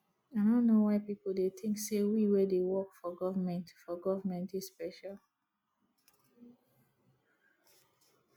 i no know why people dey think say we wey dey work for government for government dey special